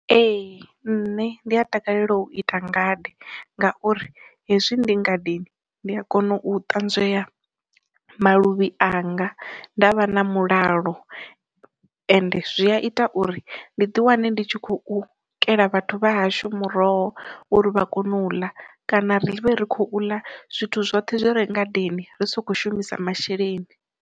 Ee nṋe ndi a takalela u ita ngade ngauri hezwi ndi ngadeni ndi a kona u ṱanzwei maluvhi anga nda vha na mulalo, ende zwi a ita uri ndi ḓi wane ndi khou kela vhathu vha hashu muroho uri vha kone u ḽa kana ri vhe ri khou ḽa zwithu zwoṱhe zwo renga then ri sokho shumisa masheleni.